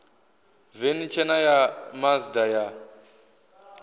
veni tshena ya mazda ya